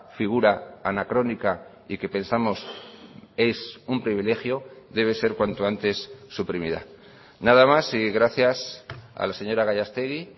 figura anacrónica y que pensamos es un privilegio debe ser cuanto antes suprimida nada más y gracias a la señora gallastegui